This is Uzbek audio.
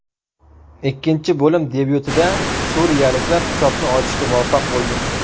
Ikkinchi bo‘lim debyutida suriyaliklar hisobni ochishga muvaffaq bo‘ldi.